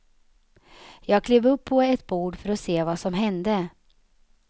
Jag klev upp på ett bord för att se vad som hände.